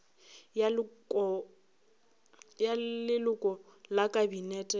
ya leloko la kabinete le